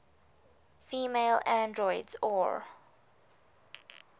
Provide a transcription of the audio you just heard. female androids or